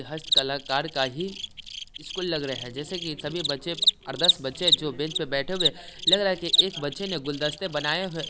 हस्त कलाकार का ही इसको लग रहा है जैसे कि सभी बच्चे और दस बच्चे बेंच पे बैठे हुए लग रहा है कि एक बच्चे ने गुलदस्ते बनाए हुए है।